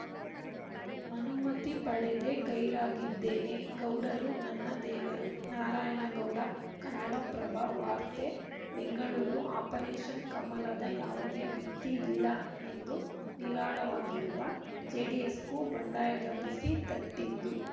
ಅನುಮತಿ ಪಡೆದೇ ಗೈರಾಗಿದ್ದೇನೆ ಗೌಡರು ನನ್ನ ದೇವರು ನಾರಾಯಣಗೌಡ ಕನ್ನಡಪ್ರಭ ವಾರ್ತೆ ಬೆಂಗಳೂರು ಆಪರೇಷನ್‌ ಕಮಲದ ಯಾವುದೇ ಭೀತಿ ಇಲ್ಲ ಎಂದು ನಿರಾಳವಾಗಿರುವ ಜೆಡಿಎಸ್‌ಗೂ ಬಂಡಾಯದ ಬಿಸಿ ತಟ್ಟಿದ್ದು